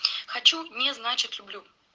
хочу не значит люблю